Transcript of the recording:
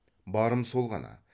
барым сол ғана